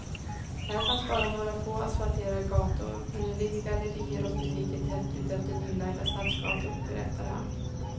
Här fanns bara några få asfalterade gator men nu ligger gallerier och butiker tätt utefter nylagda stadsgator, berättar han.